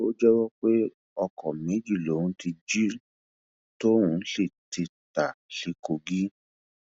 ó jẹwọ pé ọkọ méjì lòun ti jí tóun sì ti ta sí kogi